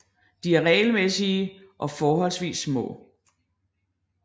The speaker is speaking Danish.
De er regelmæssige og forholdsvis små